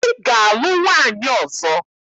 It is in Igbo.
Ị ga-alụ nwaanyị ọzọ!